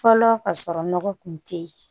Fɔlɔ ka sɔrɔ nɔgɔ kun te yen